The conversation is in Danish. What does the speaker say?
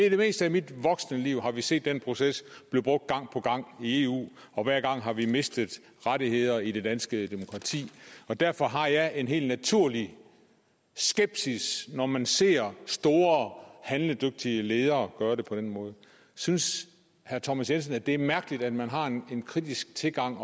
i det meste af mit voksne liv har vi set den proces i eu og hver gang har vi mistet rettigheder i det danske demokrati og derfor har jeg en helt naturlig skepsis når man ser store handledygtige ledere gøre det på den måde synes herre thomas jensen det er mærkeligt at man har en kritisk tilgang